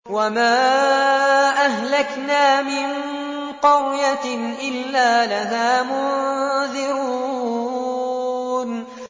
وَمَا أَهْلَكْنَا مِن قَرْيَةٍ إِلَّا لَهَا مُنذِرُونَ